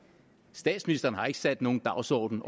statsministeren har overhovedet ikke sat nogen dagsorden